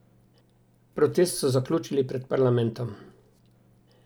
Protest so zaključili pred parlamentom.